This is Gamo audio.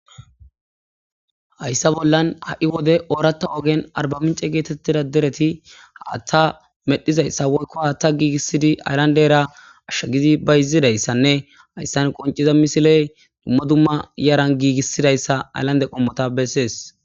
hayssa bollan ha7i wode ooratta ogen arbamince geetettida dereti haaththa medhizayssa woykko hattha giigissidi ayllandera ashsha gidi bayizidayssanne hayssan qonciza misiley dumma dumma yaran giigissidayssa ayllande qommota bessees